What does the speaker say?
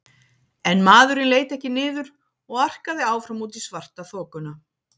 En maðurinn leit ekki niður og arkaði áfram út í svartaþokuna.